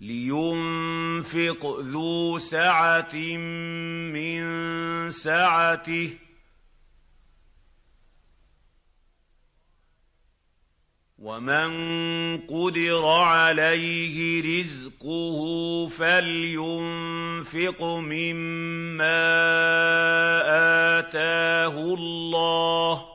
لِيُنفِقْ ذُو سَعَةٍ مِّن سَعَتِهِ ۖ وَمَن قُدِرَ عَلَيْهِ رِزْقُهُ فَلْيُنفِقْ مِمَّا آتَاهُ اللَّهُ ۚ